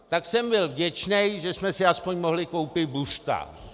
Tak jsem byl vděčný, že jsme si aspoň mohli koupit buřta.